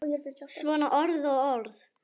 Svona orð og orð.